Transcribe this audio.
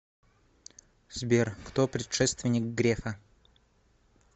сбер кто предшественник грефа